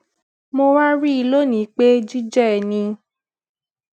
mo wá rí i lónìí pé jíjé ẹni